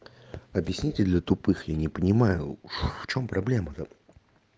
объясните для тупых я не понимаю в чем проблема-то